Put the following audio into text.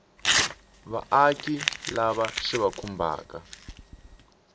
vaaki lava swi va khumbhaka